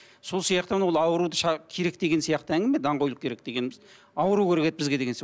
сол сияқты мынау ауруды керек деген сияқты әңгіме даңғойлық керек дегеніміз ауру керек еді бізге деген